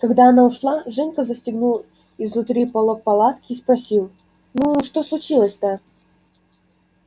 когда она ушла женька застегнул изнутри полог палатки и спросил ну что случилось-то